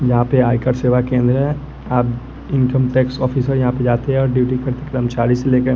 यहाँ पे आयकर सेवा केंद्र है आप इनकम टैक्स ऑफिसर यहाँ पे जाते हैं और ड्यूटी करते कर्मचारी से लेकर --